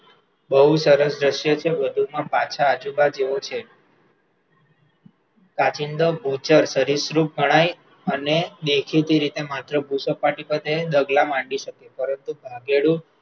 બહુ સરસ દ્રશ્ય છે, વધુમાં પાછા આજીબા જેવો છે, કાંચિડો ભૂચર સરીસૃપ ગણાય અને દેખીતી રીતે માત્ર ભુસપાટી ઉપર રે, ડગલાં માંડી શકે, પરંતુ ભાગેડુ